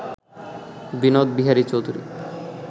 Binod Bihari Chowdhury